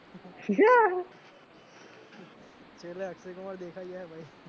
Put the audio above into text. છેલ્લે અક્ષય કુમાર દેખાય જાય હે ભાઈ